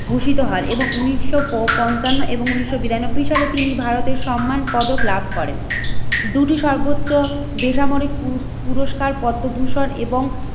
ভূষিত হয় এবং উন্নিশশো পপঞ্চান্ন এবং উন্নিশশো বিরানব্বই সালে তিনি ভারতের সম্মান পদক লাভ করেন। দুদু সর্বোচ্চ বেসামরিক পুপুরস্কার পদ্মভূষণ এবং